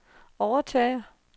overtager